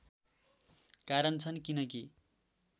कारण छन् किनकि